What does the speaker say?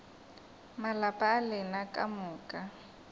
malapa a lena ka moka